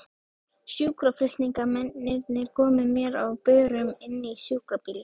Sjúkraflutningamennirnir komu mér á börum inn í sjúkrabílinn.